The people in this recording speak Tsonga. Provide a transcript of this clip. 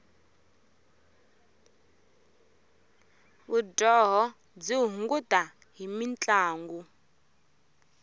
vudyoho byi hunguta hi mintlangu